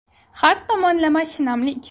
Har tomonlama shinamlik .